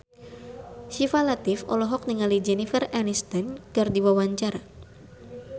Syifa Latief olohok ningali Jennifer Aniston keur diwawancara